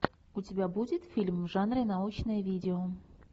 у тебя будет фильм в жанре научное видео